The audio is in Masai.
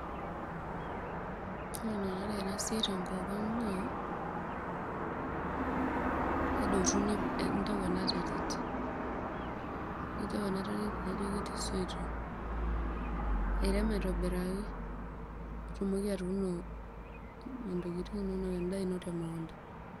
Ore enikunari enasiai tenkop aang naa kedotuni, intau enaterit nitau enaterit nijo ketii soitok nirek aitobiraki nitumoki atuuno ntokitin inonok ashu endaa ino temukunda.